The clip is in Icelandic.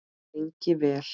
Lengi vel.